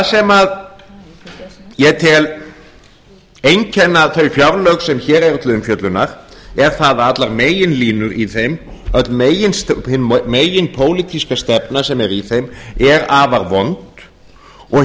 sem ég tel einkenna þau fjárlög sem hér eru til umfjöllunar er það að allar meginlínur í þeim hin meginpólitíska stefna sem er í þeim er afar vond og